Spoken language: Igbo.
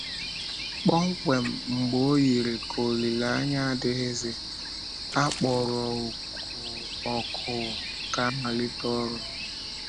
Kpọmkwem mgbe ọ yiri ka olileanya adịghịzi, a kpọrọ òkù ka a malite ọrụ!